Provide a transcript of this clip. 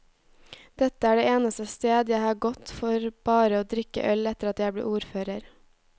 Dette er det eneste sted jeg har gått for bare å drikke øl etter at jeg ble ordfører.